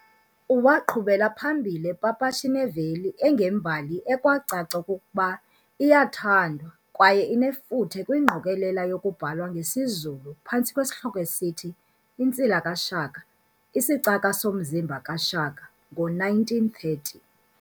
Waaqhubela phambili epapasha ineveli engembali ekwacaca okokuba iyathandwa kwaye inefuthe kwingqokolela yokubhalwe ngesiZulu phantsi kwesihloko esithi"Insila kaShaka" "isicaka somzimba kaShaka" ngo1930.